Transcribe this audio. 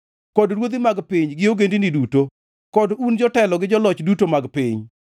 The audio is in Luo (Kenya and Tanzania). kod ruodhi mag piny gi ogendini duto; kod un jotelo gi joloch duto mag piny,